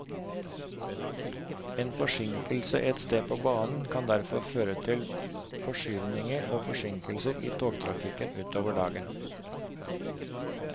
En forsinkelse ett sted på banen kan derfor føre til forskyvninger og forsinkelser i togtrafikken utover dagen.